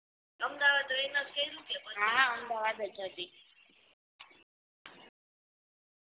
અમદાવાદ રે એમાંથી કર્યું કે અમદાવાદ જ હતી